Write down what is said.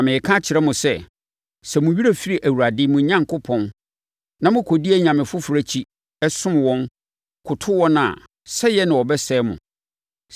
Na mereka akyerɛ mo sɛ, sɛ mo werɛ firi Awurade, mo Onyankopɔn, na mokɔdi anyame foforɔ akyi, som wɔn, koto wɔn a, sɛeɛ na wɔbɛsɛe mo.